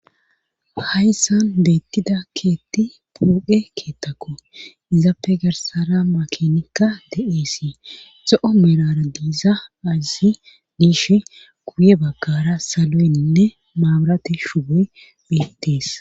Hayssan beettida keetti puoqe keettakko izappe garsara makinikka de7eesii zo7o merara diiza azi diish guye bagkara saloynne maaburati shugoy beettees